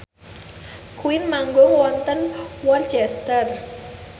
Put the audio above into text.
Queen manggung wonten Worcester